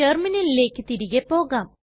റ്റെർമിനലിലെക് തിരികെ പോകാം